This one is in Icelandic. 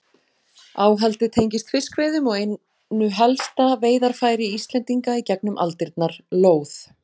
Áhaldið tengist fiskveiðum og einu helsta veiðarfæri Íslendinga í gegnum aldirnar, lóð.